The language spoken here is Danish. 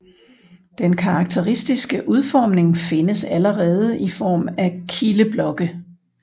Den karakteristiske udformning findes allerede i form af kildeblokke